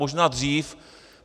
Možná dřív.